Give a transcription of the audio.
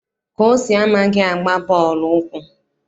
Kosi amaghị agba bọọlụ ụkwụ.